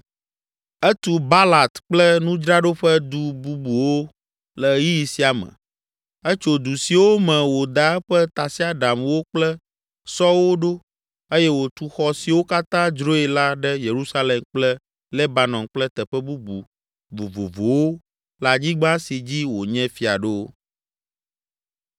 Etu Baalat kple nudzraɖoƒe du bubuwo le ɣeyiɣi sia me, etso du siwo me wòda eƒe tasiaɖamwo kple sɔwo ɖo eye wòtu xɔ siwo katã dzroe la ɖe Yerusalem kple Lebanon kple teƒe bubu vovovowo le anyigba si dzi wònye fia ɖo.